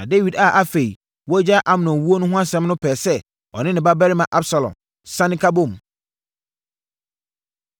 Na Dawid a afei wagyae Amnon wuo no ho asɛm no pɛɛ sɛ ɔne ne babarima Absalom sane ka bom.